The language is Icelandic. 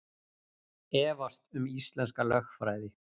Efast um íslenska lögfræði